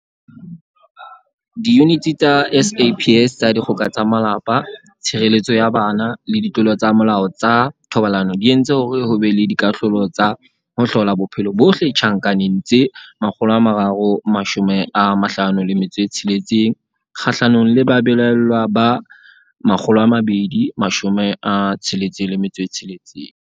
Diyuniti tsa SAPS tsa Dikgoka tsa Malapa, Tshireletso ya Bana le Ditlolo tsa Molao tsa Thobalano di entse hore ho be le dikahlolo tsa ho hlola bophelo bohle tjhankaneng tse 356 kgahlanong le babelaellwa ba 266.